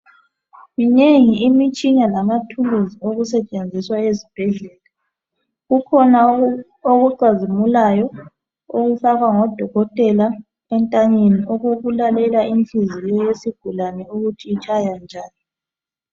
Minengi imitshina lamathuluzi okusetshenziswa ezibhedlela kukhona okucazimulayo okufakwa ngodokotela entanyeni okokulalela inhliziyo yesigulane ukuthi itshaya njani.